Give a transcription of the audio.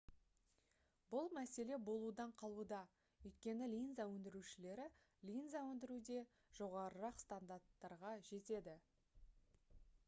бұл мәселе болудан қалуда өйткені линза өндірушілері линза өндіруде жоғарырақ стандарттарға жетеді